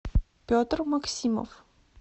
петр максимов